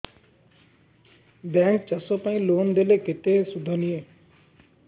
bank ଚାଷ ପାଇଁ loan ଦେଲେ କେତେ ସୁଧ ନିଏ